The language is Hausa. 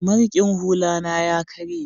mariƙin hula na ya karye